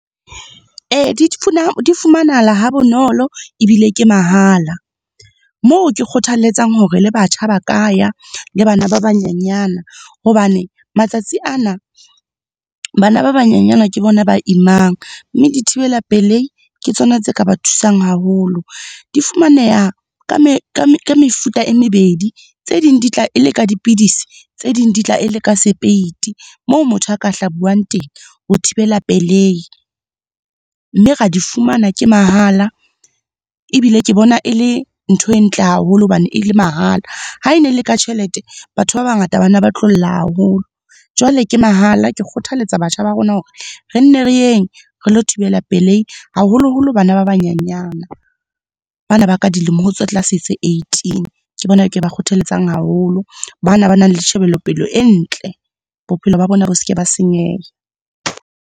Ee, di fumanahala ha bonolo ebile ke mahala. Moo ke kgothalletsang hore le batjha ba ka ya, le bana ba banyenyane. Hobane matsatsi ana, bana ba banyenyana ke bona ba imang, mme dithibela-pelehi ke tsona tse ka ba thusang haholo. Di fumaneha ka mefuta e mebedi. Tse ding di tla e le ka dipidisi, tse ding di tla e le ka sepeiti moo motho a ka hlabuang teng, ho thibela pelehi. Mme ra di fumana, ke mahala ebile ke bona e le ntho e ntle haholo hobane e le mahala. Ha e ne e le ka tjhelete batho ba bangata bana ba tlo lla haholo. Jwale ke mahala, ke kgothaletsa batjha ba rona hore, re nne re yeng re lo thibela pelehi, haholoholo bana ba banyenyana. Ba na ba ka dilemo ho tse tlase tse eighteen, ke bona ke ba kgothalletsang haholo, bana ba nang le tjhebelopele e ntle. Bophelo ba bona bo seke ba senyeha.